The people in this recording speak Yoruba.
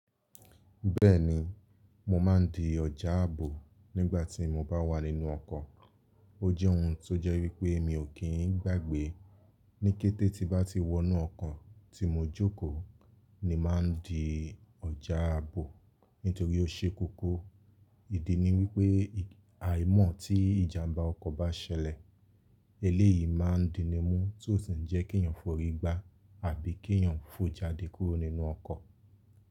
Bẹ́ẹ̀ni, mo máa ń di ọ̀já àbò nígbà tí mo bá wà nínú ọkọ̀. Ó jẹ́ ohun tó jẹ́ wípé mi ò kí ń gbàgbé. Níkẹ́tẹ́ tí bá ti wọnú ọkọ̀ tí mo jókòó ni màá ń di ọ̀já àbò nítorí ó ṣekókó. Ìdí ni wípé àìmọ̀ tí ìjàmbá ọkọ̀ bá ṣẹlẹ̀, eléyìí máa ń di ni mú tí ó sì ni jẹ́ kí ènìyàn forí gbá àbí kí ènìyàn fò jáde kúrò nínú ọkọ̀.